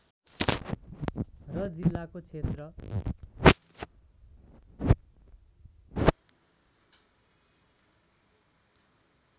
र जिल्लाको क्षेत्र